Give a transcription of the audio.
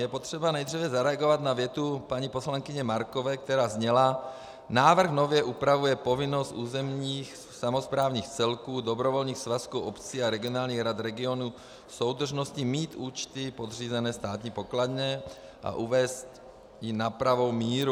Je třeba nejdříve zareagovat na větu paní poslankyně Markové, která zněla: "Návrh nově upravuje povinnost územních samosprávných celků, dobrovolných svazků obcí a regionálních rad regionů soudržnosti mít účty podřízené státní pokladně a uvést ji na pravou míru."